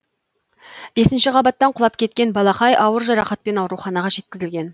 бесінші қабаттан құлап кеткен балақай ауыр жарақатпен ауруханаға жеткізілген